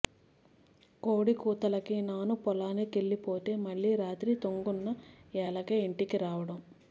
కోడి కూతేలకి నాను పొలానికెల్లిపోతే మళ్ళీ రాత్రి తొంగున్న ఏలకే ఇంటికి రావడం